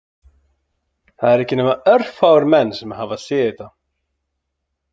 Það eru ekki nema örfáir menn sem hafa séð þetta